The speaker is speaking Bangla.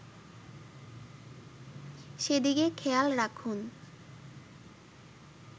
সেদিকে খেয়াল রাখুন